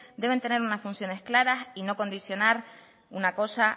deben tener unas funciones claras y no condicionar una cosa